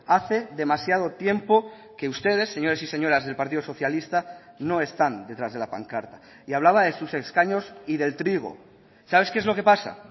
hace demasiado tiempo que ustedes señores y señoras del partido socialista no están detrás de la pancarta y hablaba de sus escaños y del trigo sabes qué es lo que pasa